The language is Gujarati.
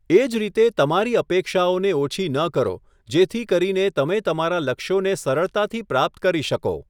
એ જ રીતે તમારી અપેક્ષાઓને ઓછી ન કરો જેથી કરીને તમે તમારા લક્ષ્યોને સરળતાથી પ્રાપ્ત કરી શકો.